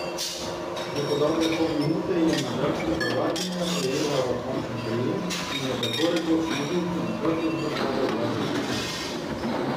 Že po dobre pol minute je madžarsko prvakinjo ujela v končni prijem in jo tako rekoč negibno na hrbtu zadržala dvajset sekund.